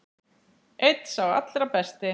Einn sá allra besti.